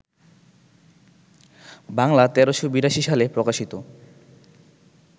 বাংলা ১৩৮২ সালে প্রকাশিত